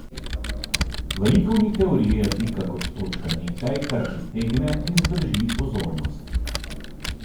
V likovni teoriji je pika kot točka nekaj, kar pritegne in zdrži pozornost.